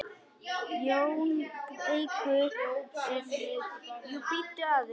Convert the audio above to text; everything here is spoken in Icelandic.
JÓN BEYKIR: Jú, bíddu aðeins!